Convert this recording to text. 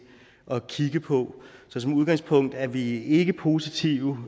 at kigge på så som udgangspunkt er vi ikke positive